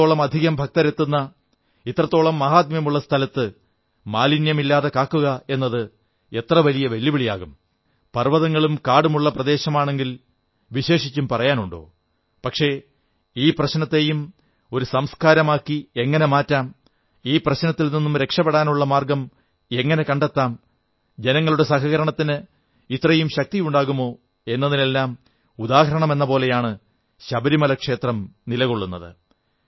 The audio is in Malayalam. ഇത്രത്തോളം അധികം ഭക്തരെത്തുന്ന ഇത്രത്തോളം മാഹാത്മ്യമുള്ള സ്ഥലത്ത് മാലിന്യമില്ലാതെ കാക്കുകയെന്നത് എത്ര വലിയ വെല്ലുവിളിയാകാം പർവ്വതങ്ങളും കാടുമുള്ള പ്രദേശമാണെങ്കിൽ വിശേഷിച്ചും പറയാനുണ്ടോ പക്ഷേ ഈ പ്രശ്നത്തെയും ഒരു സംസ്കാരമാക്കി എങ്ങനെ മാറ്റാം ഈ പ്രശ്നത്തിൽ നിന്നും രക്ഷപ്പെടാനുള്ള മാർഗ്ഗം എങ്ങനെ കണ്ടെത്താം ജനങ്ങളുടെ സഹകരണത്തിന് ഇത്രയും ശക്തിയുണ്ടാകുമോ എന്നതിനെല്ലാം ഉദാഹരണമെന്നപോലെയാണ് ശബരിമല ക്ഷേത്രം നിലകൊള്ളുന്നത്